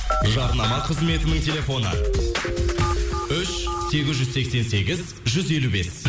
жарнама қызметінің телефоны үш сегіз жүз сексен сегіз жүз елу бес